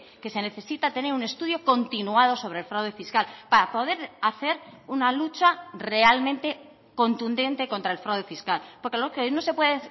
que se necesita tener un estudio continuado sobre el fraude fiscal para poder hacer una lucha realmente contundente contra el fraude fiscal porque lo que no se puede